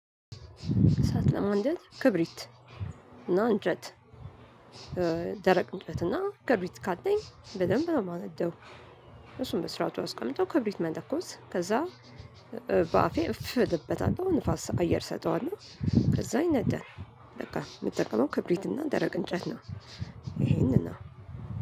እሳት ለማንደድ ክብሪት እና አንጨት ደረቅ እንጨትና ክብሪት ካለኝ በደንብ ነው ማነደው። እሱን በስራቱ አስቀምጦ ክብሪት መለኮስ ከዛ በአፌ እፍ እልበታለሁ ንፋስ አየር እሰጠዋለሁ ከዛ ይነዳል። በቃ የምጠቀመው ክብሪትና ደረቅ እንጨት ነው። ይሄንን ነው